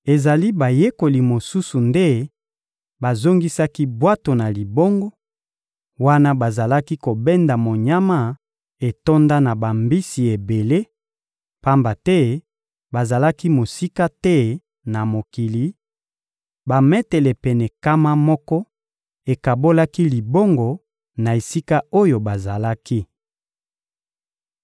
Ezali bayekoli mosusu nde bazongisaki bwato na libongo, wana bazalaki kobenda monyama etonda na bambisi ebele, pamba te bazalaki mosika te na mokili: bametele pene nkama moko ekabolaki libongo na esika oyo bazalaki.